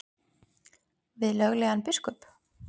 Við löglegan biskup?